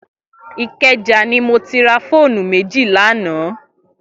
Ikeja ni mó ti rà fónú méji lànã